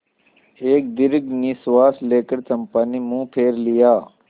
एक दीर्घ निश्वास लेकर चंपा ने मुँह फेर लिया